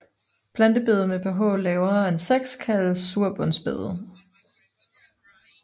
Plantebede med pH lavere end 6 kaldes surbundsbede